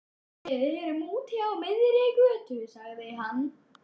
Við erum úti á miðri götu, sagði hann.